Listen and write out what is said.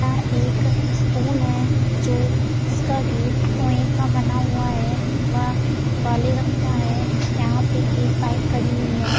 यह एक स्कूल है जो जिसका गेट ओहें बना हुआ है वह काले रंग का है | यहाँ पे एक बाइक खड़ी हुई है।